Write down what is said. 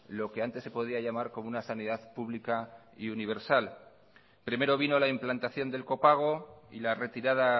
lo que antes se podía llamar como una sanidad pública y universal primero vino la implantación del copago y la retirada